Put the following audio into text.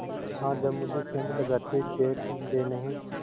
हाँ जब मुझे सेंध लगाते देख लेनहीं